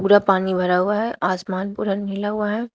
पूरा पानी भरा हुआ है आसमान पूरा नीला हुआ है।